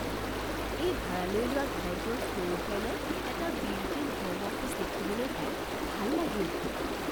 এই ভাৰালৈ লোৱা ঘৰটোৰ ফ্ল'ৰ প্লেনত এটা বিল্ট ইন হ'ম অফিচ দেখিবলৈ পাই ভাল লাগিল।